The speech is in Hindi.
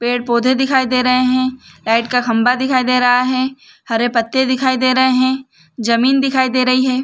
पेड़-पौधे दिखाई दे रहे है लाइट का खम्भा दिखाई दे रहा है हरे पत्ते दिखाई दे रहे है ज़मीन दिखाई दे रही है।